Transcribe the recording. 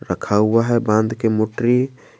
रखा हुआ है बांध के मूत्री।